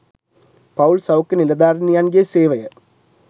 පවුල් සෞඛ්‍ය නිළධාරිනියන්ගේ සේවය